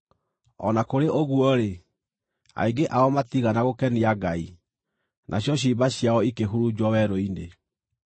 O na kũrĩ ũguo-rĩ, aingĩ ao matiigana gũkenia Ngai; nacio ciimba ciao ikĩhurunjwo werũ-inĩ.